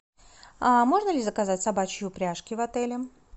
можно ли заказать собачьи упряжки в отеле